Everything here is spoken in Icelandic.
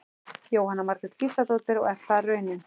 Jóhanna Margrét Gísladóttir: Og er það raunin?